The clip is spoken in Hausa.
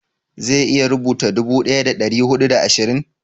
zai iya rubuta dubu daya da dari hudu da ashirin?